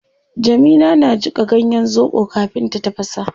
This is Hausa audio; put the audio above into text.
Jamila na jika ganyen zobo kafin ta tafasa